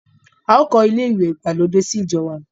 A ò kọ́ ilé ìwẹ̀ ìgbàlódé sí ìjọ wa.